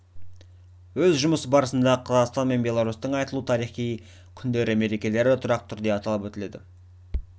өз жұмысы барысында қазақстан мен беларусьтің айтулы тарихи күндері мерекелері тұрақты түрде аталып өтіледі